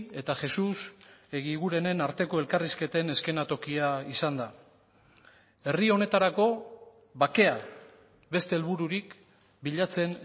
eta jesus egigurenen arteko elkarrizketen eszenatokia izan da herri honetarako bakea beste helbururik bilatzen